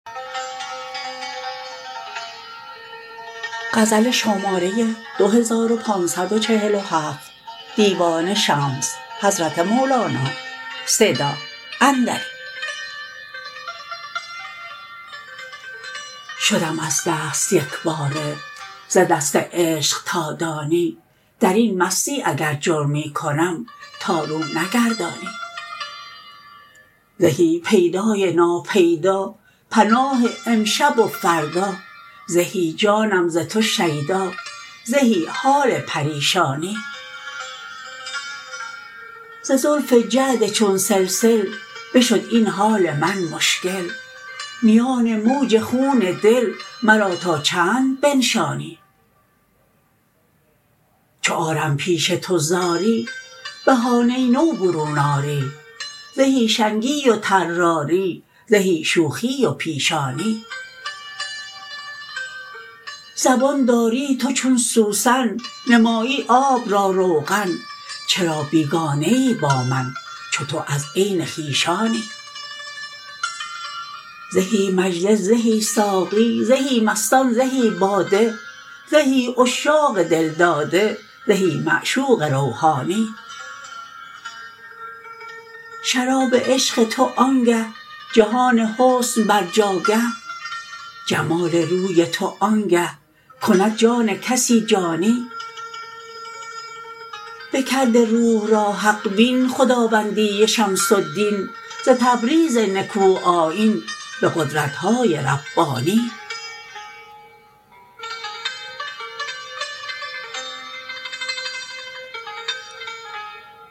شدم از دست یک باره ز دست عشق تا دانی در این مستی اگر جرمی کنم تا رو نگردانی زهی پیدای ناپیدا پناه امشب و فردا زهی جانم ز تو شیدا زهی حال پریشانی ز زلف جعد چون سلسل بشد این حال من مشکل میان موج خون دل مرا تا چند بنشانی چو آرم پیش تو زاری بهانه نو برون آری زهی شنگی و طراری زهی شوخی و پیشانی زبان داری تو چون سوسن نمایی آب را روغن چرا بیگانه ای با من چو تو از عین خویشانی زهی مجلس زهی ساقی زهی مستان زهی باده زهی عشاق دل داده زهی معشوق روحانی شراب عشق تو آنگه جهان حسن بر جاگه جمال روی تو آنگه کند جان کسی جانی بکرده روح را حق بین خداوندی شمس الدین ز تبریز نکوآیین به قدرت های ربانی